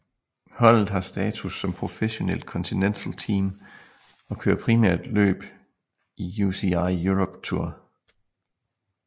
Holdet har status som professionelt continental team og kører primært løb i UCI Europe Tour